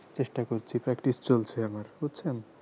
চেষ্টা করছি practice চলছে আমার বুঝছেন